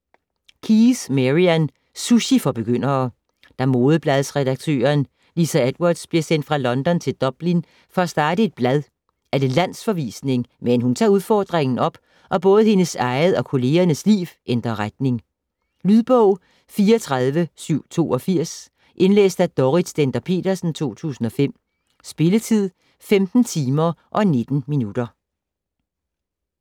Keyes, Marian: Sushi for begyndere Da modebladsredaktøren Lisa Edwards bliver sendt fra London til Dublin for at starte et blad er det landsforvisning, men hun tager udfordringen op, og både hendes eget og kollegernes liv ændrer retning. Lydbog 34782 Indlæst af Dorrit Stender-Petersen, 2005. Spilletid: 15 timer, 19 minutter.